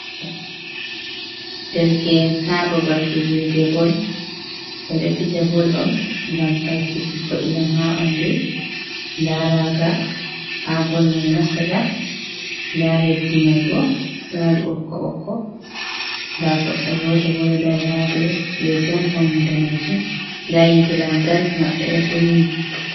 Ɗerke’en ha babal fijirde bol, ɓe ɗo fija bol on ngam sankitiggo iyam ha ɓanɗu, nda raga ha bol mai nastata nda leddi mai bo ɗo waɗi ɓokko ɓokko, nda goɗɗo goto bo ɗo dari ha to be jompa mun danejum, nda yitte lamtarki maɓɓe ɗo kunni.